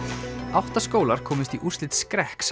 átta skólar komust í úrslit skrekks